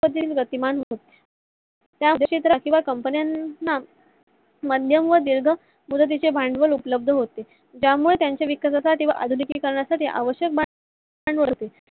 गतिमान होतो company ला मध्यम व तीव्र मदतीचे भांडवल उपलब्ध होते. त्यामुळे त्यंच्या विकासा साठी आवश्यक भांडवल